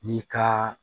N'i ka